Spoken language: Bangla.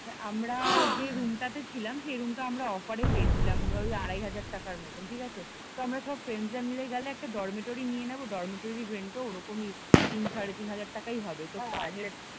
আমরা যে রুম টাতে ছিলাম সেই রুম টা আমরা অফার এ পেয়েছিলাম ধর ওই আড়াই হাজার টাকার মতন ঠিক আছে তো আমরা সব ফ্রেন্ডস রা মিলে গেলে একটা ডরমেটরি নিয়ে নেব ডরমেটরির রেন্ট ও ওরকমই তিন সাড়ে তিন হাজার টাকাই হবে